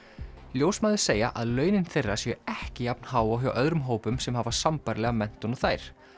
ljósmæður segja að launin þeirra séu ekki jafn há og hjá öðrum hópum sem hafa sambærilega menntun og þær